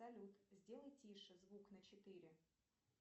салют сделай тише звук на четыре